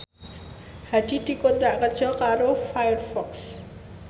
Hadi dikontrak kerja karo Firefox